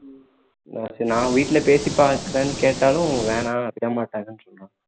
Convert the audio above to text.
நான் வீட்டுல பேசி பார்க்குறேன்னு கேட்டாலும் வேணா விடமாட்டாங்கன்னு சொல்றான்